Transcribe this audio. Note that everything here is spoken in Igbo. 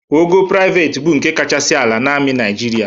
Ogo prịavet bụ nke kachasị ala na amị Naịjịrịa.